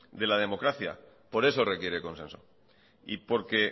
de la democracia por eso requiere consenso y porque